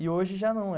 E hoje já não.